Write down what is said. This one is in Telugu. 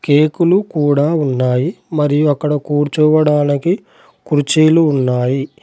కేకులు కూడా ఉన్నాయి మరియు అక్కడ కూర్చోవడానికి కుర్చీలు ఉన్నాయి.